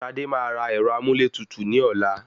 Sadé máa ra ẹ̀rọ amúlétutù ní ọ̀la.